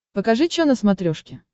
покажи чо на смотрешке